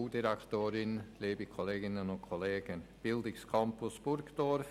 der BaK. Bildungscampus Burgdorf;